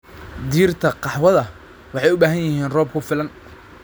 Dhirta qaxwada waxay u baahan yihiin roob ku filan.